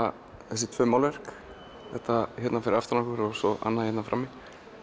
þessi tvö málverk þetta hérna fyrir aftan okkur og svo annað hérna frammi